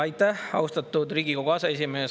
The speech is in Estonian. Aitäh, austatud Riigikogu aseesimees!